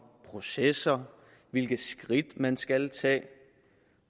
processer hvilke skridt man skal tage